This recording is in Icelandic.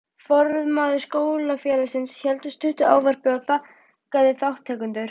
Formaður Skólafélagsins hélt stutt ávarp og þakkaði þátttakendum.